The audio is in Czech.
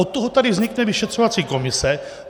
Od toho tady vznikne vyšetřovací komise.